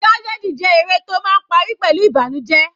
Tragedy jẹ́ eré tó máa ń parí pẹ̀lú ìbànújẹ.